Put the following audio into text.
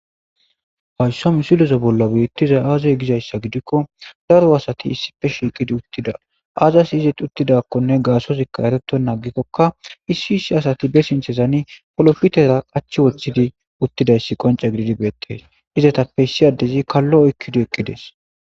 Haysso misilozo bollo beittiza aazoy gizayssa gidikko daro asati issife shiiqidi uttida aazas izit uttidakkonne gaasozikka ereto naagikkokka issi issi asati be sintezani polofitera qachi woththidi uttidayssi qonca gididi beettes izetappe issi addezi kallo oykkidi eqqides